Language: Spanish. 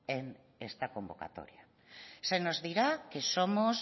en esta convocatoria se nos dirá que somos